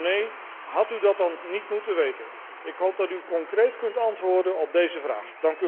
Zo nee, had u dat dan niet moeten weten? Ik hoop dat u concreet kunt antwoorden op deze vraag.